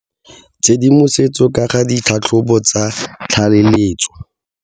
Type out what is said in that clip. Tshedimosetso ka ga ditlhatlhobo tsa tlaleletso.